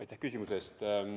Aitäh küsimuse eest!